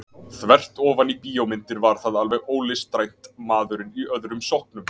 Þvert ofan í bíómyndir var það alveg ólistrænt maðurinn í öðrum sokknum.